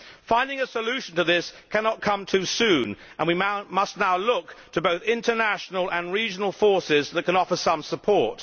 Finding a solution to this cannot come too soon and we must now look to both international and regional forces that can offer some support.